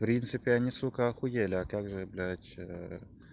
в принципе они сука ахуели а как же блядь